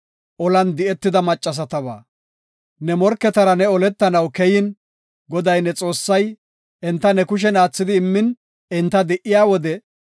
Ne morketara ne oletanaw keyin, Goday, ne Xoossay enta ne kushen aathidi immin, enta di7iya wode,